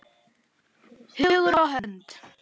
Hugur og hönd.